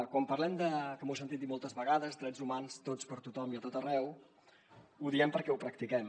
quan parlem de que m’ho he sentit dir moltes vegades drets humans tots per a tothom i a tot arreu ho diem perquè ho practiquem